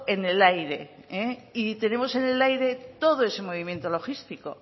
en el aire y tenemos en el aire todo ese movimiento logístico